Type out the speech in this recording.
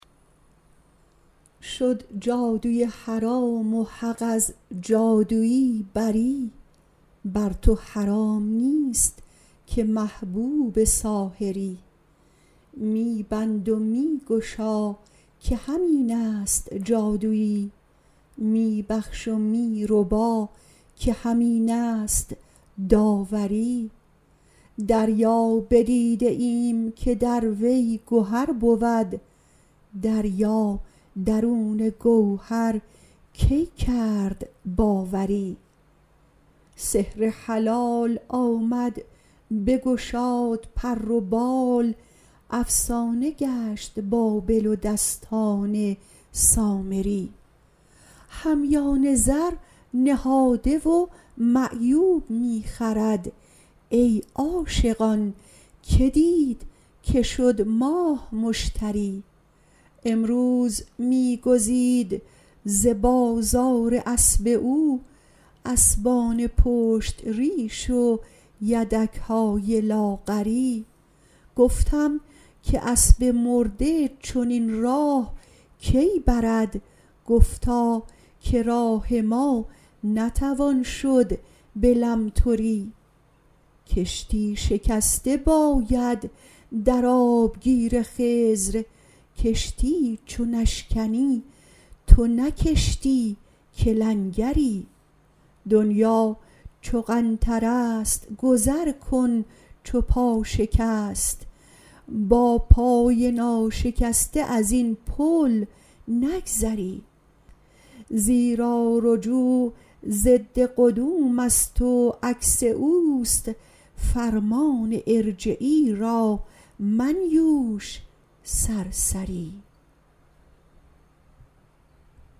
شد جادوی حرام و حق از جادوی بری بر تو حرام نیست که محبوب ساحری می بند و می گشا که همین است جادوی می بخش و می ربا که همین است داوری دریا بدیده ایم که در وی گهر بود دریا درون گوهر کی کرد باوری سحر حلال آمد بگشاد پر و بال افسانه گشت بابل و دستان سامری همیان زر نهاده و معیوب می خرد ای عاشقان کی دید که شد ماه مشتری امروز می گزید ز بازار اسپ او اسپان پشت ریش و یدک های لاغری گفتم که اسب مرده چنین راه کی برد گفتا که راه ما نتوان شد به لمتری کشتی شکسته باید در آبگیر خضر کشتی چو نشکنی تو نه کشتی که لنگری دنیا چو قنطره ست گذر کن چو پا شکست با پای ناشکسته از این پول نگذری زیرا رجوع ضد قدوم است و عکس او است فرمان ارجعی را منیوش سرسری